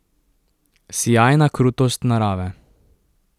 Sijajna krutost narave.